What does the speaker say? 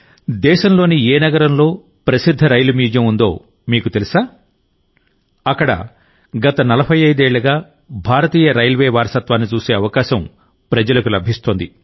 దేశంలోని ఏ నగరంలో ప్రసిద్ధ రైలు మ్యూజియం ఉందో మీకు తెలుసా అక్కడ గత 45 ఏళ్లుగా భారతీయ రైల్వే వారసత్వాన్ని చూసే అవకాశం ప్రజలకు లభిస్తోంది